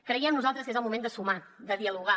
creiem nosaltres que és el moment de sumar de dialogar